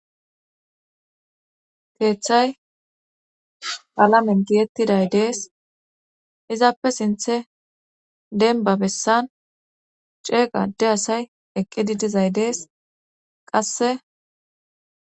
keeththay alamen giyettiday dees izaappe sinthe denba bessan ceeqa de asay eqqidi dizay dees qasse